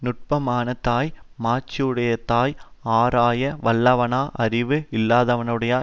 நுட்பமானதாய் மாட்சியுடையதாய் ஆராய வல்லவான அறிவு இல்லாதவனுடைய